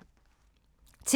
TV 2